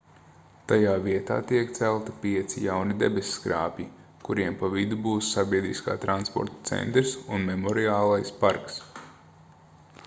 tajā vietā tiek celti pieci jauni debesskrāpji kuriem pa vidu būs sabiedriskā transporta centrs un memoriālais parks